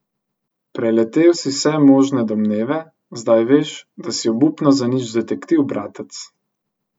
Preletel si vse možne domneve, zdaj veš, da si obupno zanič detektiv, bratec.